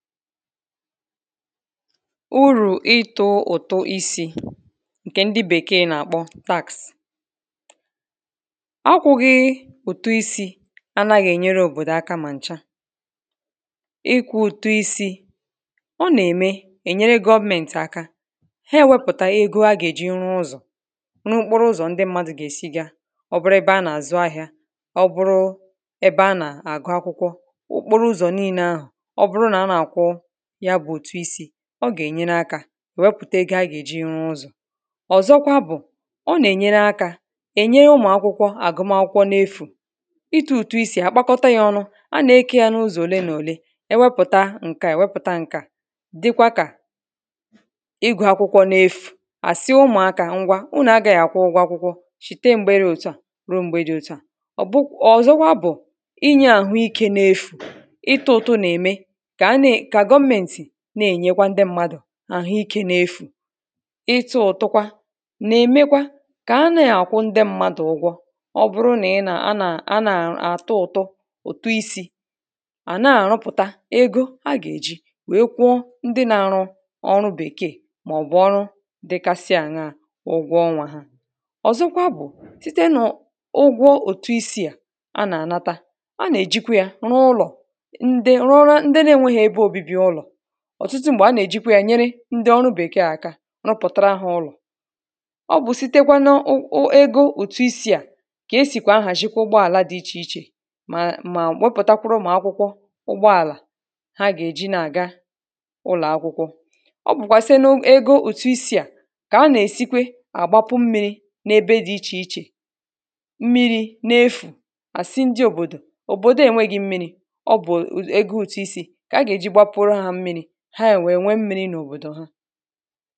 Urù ịtụ̄ ụtụ isī ǹkè ndị bèkeè nà-àkpọ tax akwụ̄ghị ị̀tụ isī akwụ̄ghị ị̀tụ isī, anāghị ènyere òbòdò aka mà ǹcha ịkwụ̄ ụtụ isī ọ nà-ème ènyere government aka he wepụ̀tà ego agà-èji rụ ụzọ̀ nà okporo ụzọ̀ ndị mmadụ̄ gà-èsi ga ọ bụrụ ebe anà-àzụ ahị̄a ọ bụrụ ebe anà-àgụ akwụkwọ okporo ụzọ̀ niīne ahụ̀ ọ bụrụ nà anà-àkwụ yabụ̄ ụ̀tụ isī ọ gà-ènyere akā wepụ̀te ego agà-èji rụ ụzọ̀ ọ̀zọkwa bụ̀ ọ nà-ènyere akā ènye ụmụ̀ akwụkwọ àgụmakwụkwọ n’efù ịtụ̄ ụ̀tụ isī àkpakọta yā ọnụ̄ anà-ekē ya n’ụzọ̀ òle nà òle ewepụ̀ta ǹkè a èwepụ̀ta ǹkè a dịkwa kà ịgụ̄ akwụkwọ n’efù àsị ụmụ̀akā ngwa unù agāghị àkwụ ụgwọ akwụkwọ shite m̀gbe dị òtù a rùo m̀gbe dị òtù a ọ̀ bụ ọ̀zọkwa bụ̀ inyē àhụ ikē n’efù ịtụ̄ ụ̀tụ nà-ème kà ana-è kà government na-ènyekwa ndị mmadù àhụ ikē n’efù ịtụ̄ ụ̀tukwa nà-èmekwa kà ana-àkwụ ndị mmadụ̀ ụgwọ ọ bụrụ nà ị nà anà anà-àtụ ụ̀tụ ụ̀tụ isī àna-àrụpụ̀ta ego agà-èji wèe kwụọ ndị na-arụ ọrụ bèkeè màọ̀bụ̀ ọrụ dịkasi àṅaā ụgwọ ọnwā ha ọ̀zọkwa bụ̀ site nà ọ̀ ụgwọ ụ̀tụ isī à anà-ànata anà-ànata, anà-èjikwa ya rụ ụlọ̀ ndị rụọrọ ndị na enweghị̄ ebe obībi ụlọ̀ ọ̀tụtụ m̀gbè anà-èjikwa yā nyere ndị ọrụ bèkeè aka rụpụ̀tara ha ụlọ̀ ọ bụ̀ sitekwa n’ọ ọ ego ụ̀tụ isī à kà esìkwà ahàzhi ụgbọàla dị ichè ichè mà mà wepụ̀takwụrụ ụmụ̀ akwụkwọ ụgbọàlà ha gà-èji na-àga ụlọ̀ akwụkwọ ọ bụ̀kwà site n’ego ụ̀tụ isī à kà anà-èsikwe àgbapu mmirī na-ebe dị ichè ichè mmirī n’efù à sị ndị òbòdò òbòdo enweghị̄ mmirī ọ bụ̀ ego ụ̀tụ isī kà agà-èji gbapuru ha mmirī ha wèe nwe mmīrī n’òbòdò ha